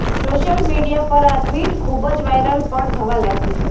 social media પર આ tweet ખૂબ જ વાયરલ પણ થવા લાગ્યુ છે